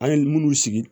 An ye minnu sigi